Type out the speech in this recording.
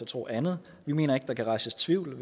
tro andet vi mener ikke der kan rejses tvivl